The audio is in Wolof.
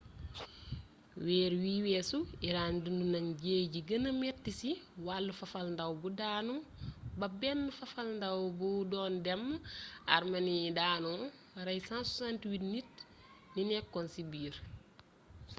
weer wii weesu iran dund na jëye ji gëna mettii ci wàllu fafalndaaw bu daanu ba benn fafalndaaw bu doon dem armeni daanoo rey 168 nit ñi nekkoon ci biir